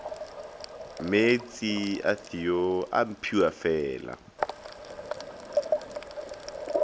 meetse a theo a mphiwafela